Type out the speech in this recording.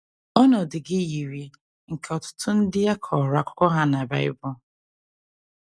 Ọnọdụ gị yiri nke ọtụtụ ndị a kọrọ akụkọ ha na Bible.